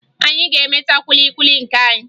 Anyị ga-emeta kwili kwili nke anyị